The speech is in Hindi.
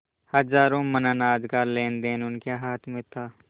हजारों मन अनाज का लेनदेन उनके हाथ में था